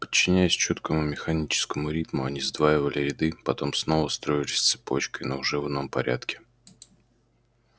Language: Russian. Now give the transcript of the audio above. подчиняясь чёткому механическому ритму они сдваивали ряды потом снова строились цепочкой но уже в ином порядке